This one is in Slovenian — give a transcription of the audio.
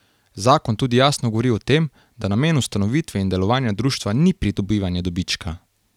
Zakon tudi jasno govori o tem, da namen ustanovitve in delovanja društva ni pridobivanje dobička.